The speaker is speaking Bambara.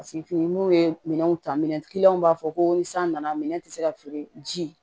fini n'u ye minɛnw ta minɛn b'a fɔ ko ni san nana minɛn tɛ se ka feere ji